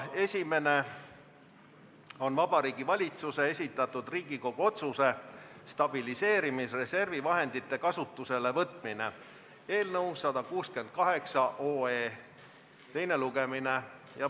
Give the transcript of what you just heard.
Esimene on Vabariigi Valitsuse esitatud Riigikogu otsuse "Stabiliseerimisreservi vahendite kasutusele võtmine" eelnõu 168 teine lugemine.